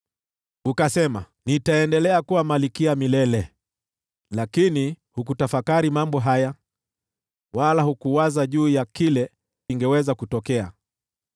Ukasema, ‘Nitaendelea kuwa malkia milele!’ Lakini hukutafakari mambo haya wala hukuwaza juu ya kile kingeweza kutokea.